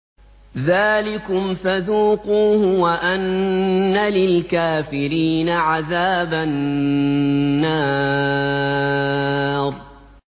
ذَٰلِكُمْ فَذُوقُوهُ وَأَنَّ لِلْكَافِرِينَ عَذَابَ النَّارِ